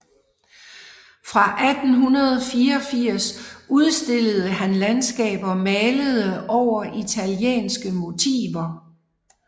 Fra 1884 udstillede han landskaber malede over italienske motiver